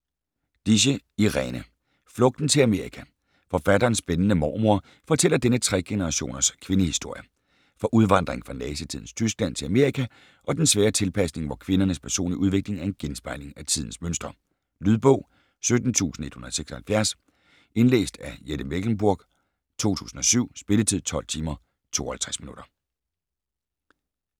Dische, Irene: Flugten til Amerika Forfatterens spændende mormor fortæller denne tre-generationers kvindehistorie. Fra udvandringen fra nazitidens Tyskland til Amerika og den svære tilpasning, hvor kvindernes personlige udvikling er en genspejling af tidens mønstre. Lydbog 17176 Indlæst af Jette Mechlenburg, 2007. Spilletid: 12 timer, 52 minutter.